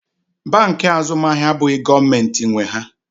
Bankị Azụmahịa abụghị gọọmentị nwe ha.